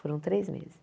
Foram três meses.